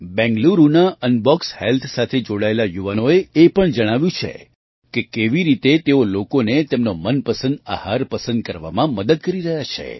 બેંગલુરુના Unbox Health સાથે જોડાયેલા યુવાનોએ એ પણ જણાવ્યું છે કે કેવી રીતે તેઓ લોકોને તેમનો મનપસંદ આહાર પસંદ કરવામાં મદદ કરી રહ્યા છે